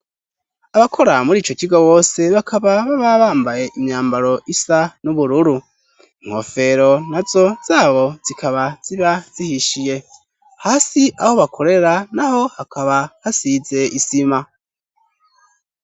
Abakora muri ico kigo bose bakaba baba bambaye imyambaro isa n'ubururu. Inkofero nazo zabo zikaba ziba zihishiye. Hasi aho bakorera naho hakaba hasize isima.